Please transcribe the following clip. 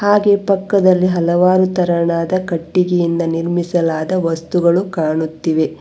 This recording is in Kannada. ಹಾಗೆ ಪಕ್ಕದಲ್ಲಿ ಹಲವಾರು ತರನಾದ ಕಟ್ಟಿಗೆಯಿಂದ ನಿರ್ಮಿಸಲಾದ ವಸ್ತುಗಳು ಕಾಣುತ್ತಿವೆ.